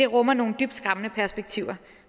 rummer nogle dybt skræmmende perspektiver